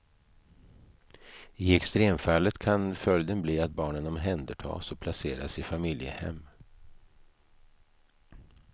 I extremfallet kan följden bli att barnen omhändertas och placeras i familjehem.